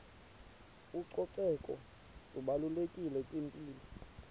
ucoceko lubalulekile kwimpilo